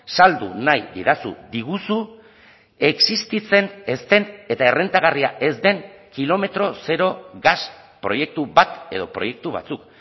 saldu nahi didazu diguzu existitzen ez den eta errentagarria ez den kilometro zero gas proiektu bat edo proiektu batzuk